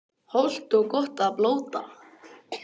Hollt og gott að blóta